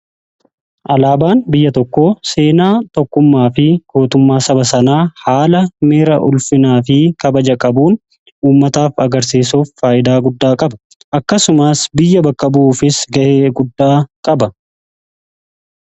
Alaabaan biyya tokko seenaa tokkummaa fi gootummaa saba sanaa haala ulfinaa fi kabaja qabuun uummataaf agarsiisuuf faayidaa guddaa qaba. akkasumaas biyya bakka bu'uufis ga'ee guddaa qaba.